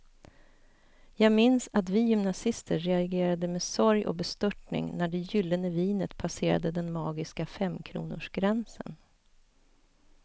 Jag minns att vi gymnasister reagerade med sorg och bestörtning när det gyllene vinet passerade den magiska femkronorsgränsen.